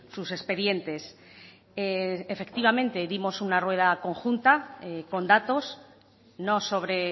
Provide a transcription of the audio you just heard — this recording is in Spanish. sus expedientes efectivamente dimos una rueda conjunta con datos no sobre